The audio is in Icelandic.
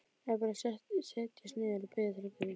Eða bara setjast niður og biðja til guðs?